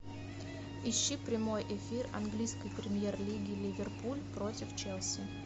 ищи прямой эфир английской премьер лиги ливерпуль против челси